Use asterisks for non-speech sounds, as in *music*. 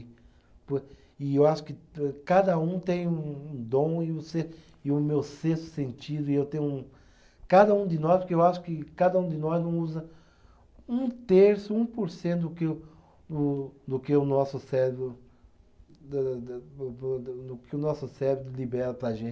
*unintelligible* E eu acho que âh, cada um tem um um dom e você, e o meu sexto sentido e eu tenho um. Cada um de nós, porque eu acho que cada um de nós não usa um terço, um por cento do que o, do que o nosso cérebro *unintelligible* do que o nosso cérebro libera para a gente.